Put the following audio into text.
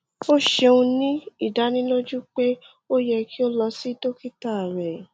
o ṣeun ni idaniloju pe o yẹ ki o lọ si dokita rẹ